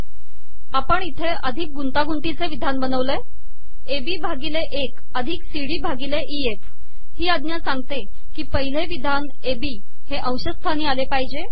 आपण इथे अिधक गुंतागुंतीचे िवधान बनवले आहे एबी भािगले एक अिधक सीडी भािगल इएफ ही आजा सागते की पिहलेिवधान एबी हे अंशसथानी आले पाहजे